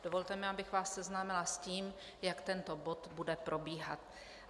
Dovolte mi, abych vás seznámila s tím, jak tento bod bude probíhat.